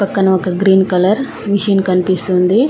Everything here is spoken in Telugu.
పక్కన ఒక గ్రీన్ కలర్ మిషిన్ కనిపిస్తుంది.